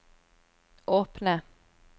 åpne